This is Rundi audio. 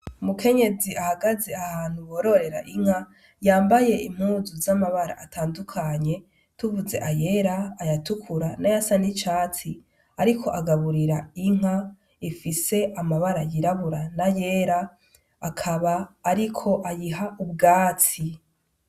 Umukenyezi ahagaze ahantu bororera Inka yambaye impuzu zamabara atandukanye tuvuze ayera ayatukura nayasa nicatsi ariko agaburira Inka ifise amabara yirabura nayera, akaba ariko ayiha ubwatsi.